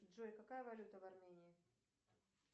джой какая валюта в армении